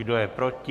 Kdo je proti?